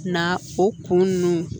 Na o kun ninnu